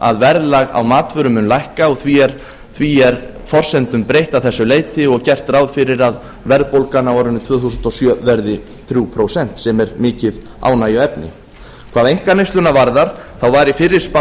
að verðlag á matvöru mun lækka og því er forsendum breytt að þessu leyti og gert ráð fyrir að verðbólgan á árinu tvö þúsund og sjö verði þrjú prósent sem er mikið ánægjuefni hvað einkaneysluna varðar var í fyrri spá